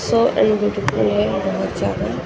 सो very beautiful है ये बहुत ज्यादा --